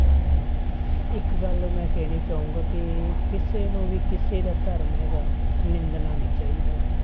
ਇੱਕ ਗੱਲ ਮੈਂ ਕਹਿਣੀ ਚਾਹਾਂਗਾ ਕਿ ਕਿਸੇ ਨੂੰ ਵੀ ਕਿਸੇ ਦਾ ਧਰਮ ਹੈਗਾ ਨਿੰਦਣਾ ਨੀ ਚਾਹੀਦਾ ਗਾ।